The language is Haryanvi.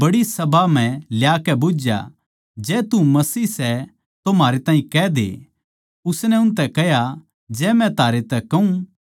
जै तू मसीह सै तो म्हारै ताहीं कह दे उसनै उनतै कह्या जै मै थारै तै कहूँ तो बिश्वास कोनी करोगे